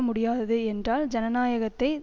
முடியாதது என்றால் ஜனநாயகத்தை